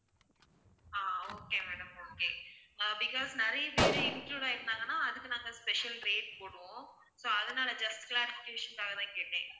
ஆஹ் okay madam okay ஆஹ் because நிறைய பேரு include ஆகி இருந்தாங்கன்னா அதுக்கு நாங்க special rate போடுவோம் so அதனால just clarification க்காக தான் கேட்டேன்